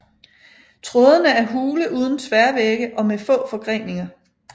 Trådene er hule uden tværvægge og med få forgreninger